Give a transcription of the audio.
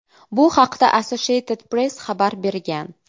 Bu haqda Associated Press xabar bergan .